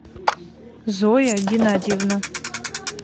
зоя геннадьевна